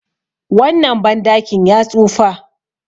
wannan bandakin ya tsufa